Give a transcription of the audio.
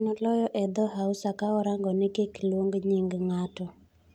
Nen oloyo edhoo Hausa, ka orangoni kik oluong nying ng'ato.